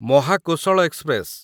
Mahakoshal express